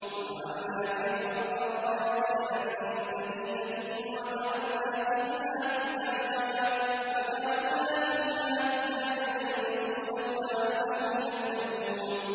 وَجَعَلْنَا فِي الْأَرْضِ رَوَاسِيَ أَن تَمِيدَ بِهِمْ وَجَعَلْنَا فِيهَا فِجَاجًا سُبُلًا لَّعَلَّهُمْ يَهْتَدُونَ